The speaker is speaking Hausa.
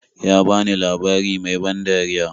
Ya bani labari mai ban dariya.